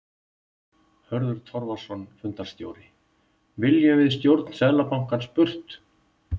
Hörður Torfason, fundarstjóri: Viljum við stjórn Seðlabankans burt?